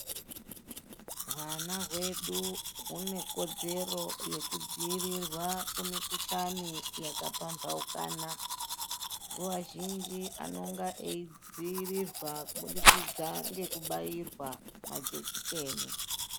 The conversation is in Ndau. Hwana hwedu hune kodzero yekudzirirwa kumikuhlani yakapambaukana. Nguva zhinji anonga eidzirirwa kubudikidza ngekubairwa majekiseni.